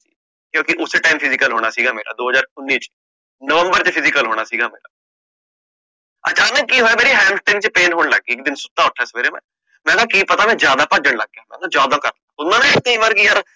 ਕਿਉਕਿ ਉਸੇ time physical ਹੋਣਾ ਸੀਗਾ ਮੇਰਾ, ਦੋ ਹਜਾਰ ਉਨੀ ਚ ਨੋਵਮ੍ਬਰ ਚ physical ਹੋਣਾ ਸੀਗਾ ਮੇਰਾ ਅਚਾਨਕ ਕਿ ਹੋਇਆ ਮੇਰੀ ਚ pain ਹੋਣ ਲੱਗ ਗਈ, ਇਕ ਦਿਨ ਸੁਤਾ ਉਠਾ ਮੈਂ, ਕਿ ਪਤਾ ਮੈਂ ਜ਼ਿਆਦਾ ਭੱਜਣ ਲੱਗ ਗਯਾ, ਮੈਟਲਾਂ ਜ਼ਿਆਦਾ, ਹੁੰਦਾ ਨਾ ਕਯੀ ਵਾਰ ਯਾਰ